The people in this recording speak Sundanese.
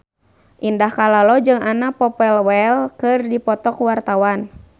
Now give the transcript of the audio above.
Indah Kalalo jeung Anna Popplewell keur dipoto ku wartawan